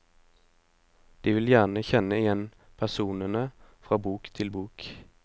De vil gjerne kjenne igjen personene fra bok til bok.